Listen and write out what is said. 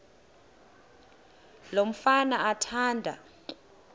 lo mfana athanda